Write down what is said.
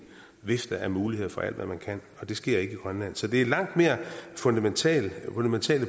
vifte af muligheder for alt hvad man kan og det sker ikke i grønland så det er langt mere fundamentale